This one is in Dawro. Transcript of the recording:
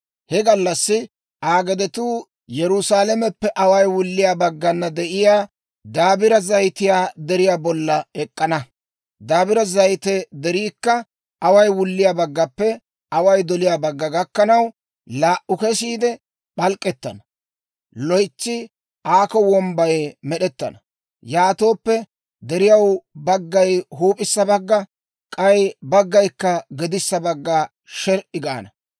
He gallassi Aa gedetuu Yerusaalameppe away wulliyaa baggana de'iyaa Dabire Zayite Deriyaa bolla ek'k'ana. Dabire Zayite Deriikka away wulliyaa baggappe away doliyaa bagga gakkanaw, laa"u kesiide p'alk'k'ettana; loytsi aakko wombbay med'ettana; yaatooppe deriyaw baggay huup'issa bagga, k'ay baggaykka gedissa bagga sher"i gaana.